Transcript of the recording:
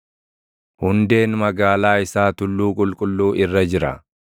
Hundeen magaalaa isaa tulluu qulqulluu irra jira.